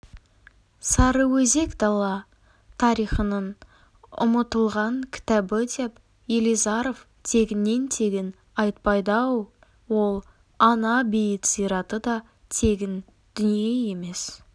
сарыөзек дала тарихының ұмытылған кітабы деп елизаров тегіннен-тегін айтпайды-ау ол ана-бейіт зираты да тегін дүние емес